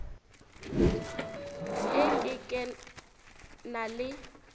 e ke ke na le